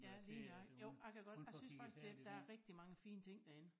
Ja lige nøjagtig jo jeg kan godt jeg synes faktisk det der er rigtig mange fine ting derinde